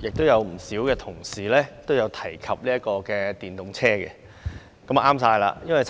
有不少同事提及電動車，這真的正好，因為